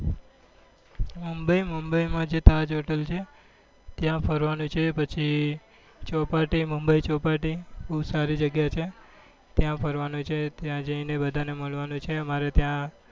બ mumbai mumbai માં જે તાઝ hotel છે ત્યાં ફરવા નું છે પછી ચોપાટી mumbai ચોપાટી બઉ સારી જગ્યા છે ત્યાં ફરવા નું છે ત્યાં જઈ ને બધા ને મળવા છે અમારે ત્યાં